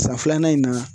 San filanan in na